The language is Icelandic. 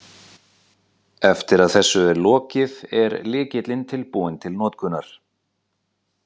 Eftir að þessu er lokið, er lykillinn tilbúinn til notkunar.